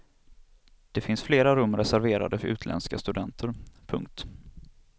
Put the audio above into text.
Det finns flera rum reserverade för utländska studenter. punkt